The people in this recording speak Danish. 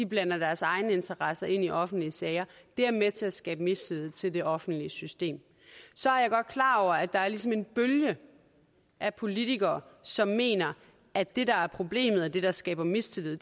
blander deres egne interesser ind i offentlige sager er med til at skabe mistillid til det offentlige system så er jeg godt klar over at der ligesom er en bølge af politikere som mener at det der er problemet og det der skaber mistillid